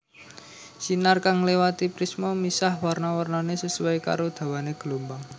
Sinar kang nglewati prisma misah warna warnané sesuai karo dawané glombang